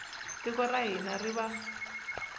tiko ra hina ri va